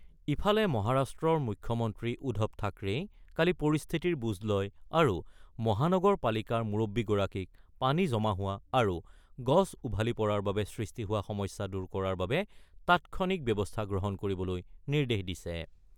ইফালে মহাৰাষ্ট্ৰৰ মুখ্যমন্ত্ৰী উদ্ধৱ থাকৰেই কালি পৰিস্থিতিৰ বুজ লয় আৰু মহানগৰপালিকাৰ মুৰববী গৰাকীক পানী জমা হোৱা আৰু গছ উভালি পৰাৰ বাবে সৃষ্টি হোৱা সমস্যা দূৰ কৰাৰ বাবে তাৎক্ষণিক ব্যৱস্থা গ্ৰহণ কৰিবলৈ নিৰ্দেশ দিছে।